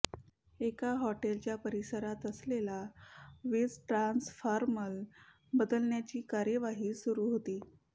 एका हॉटेलच्या परिसरात असलेला वीज ट्रान्सफॉर्मर बदलण्याची कार्यवाही सुरू होती